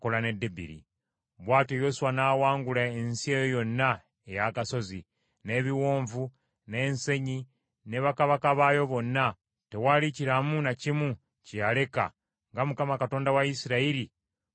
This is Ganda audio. Bw’atyo Yoswa n’awangula ensi eyo yonna ey’agasozi, n’ebiwonvu, n’ensenyi ne bakabaka baayo bonna, tewali kiramu na kimu kye yaleka nga Mukama Katonda wa Isirayiri bwe yamulagira.